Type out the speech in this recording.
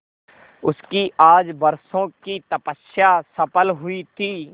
उसकी आज बरसों की तपस्या सफल हुई थी